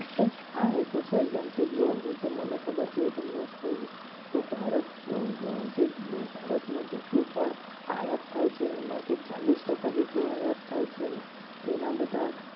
હા એ તો છે જાન કે જો હું તમને ખબર છે. તમને કહું તો ભારત જે ભારતમાં જેટલું પણ આયાત થાય છે. એમાંથી ચાલીસ ટક્કા જેટલું આયાત થાય છે. ને એના બધા